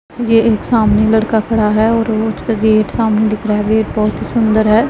यह एक सामने लड़का खड़ा हैं और पे गेट सामने दिख रहा है गेट बहोत ही सुंदर है।